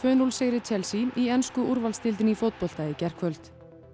núll sigri Chelsea í ensku úrvalsdeildinni í fótbolta í gærkvöld